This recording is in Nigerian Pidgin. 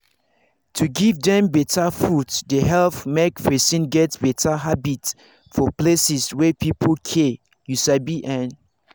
to give dem better food dey help make person get better habit for places wey people care you sabi en